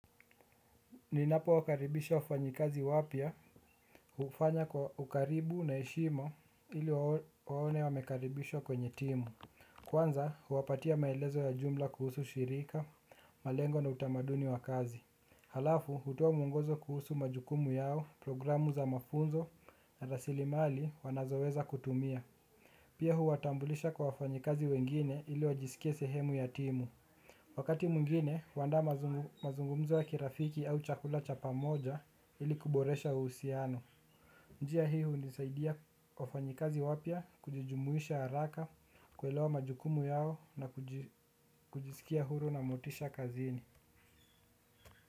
Ninapo wakaribisha wafanyikazi wapya hufanya kwa ukaribu na heshima ili waone wamekaribishwa kwenye timu. Kwanza huwapatia maelezo ya jumla kuhusu shirika, malengo na utamaduni wa kazi. Halafu hutoa mwongozo kuhusu majukumu yao programu za mafunzo na rasili mali wanazoweza kutumia. Pia huwatambulisha kwa wafanyikazi wengine ili wajisikie sehemu ya timu. Wakati mwingine, huandaa mazungumzo ya kirafiki au chakula cha pamoja ili kuboresha uhusiano. Njia hii hunisaidia wafanyikazi wapya kujijumuisha haraka, kuelewa majukumu yao na kujisikia huru na motisha kazini.